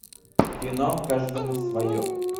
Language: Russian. кино каждому свое